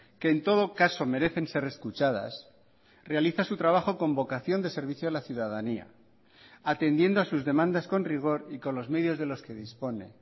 que en todo caso merecen ser escuchadas realiza su trabajo con vocación de servicio a la ciudadanía atendiendo a sus demandas con rigor y con los medios de los que dispone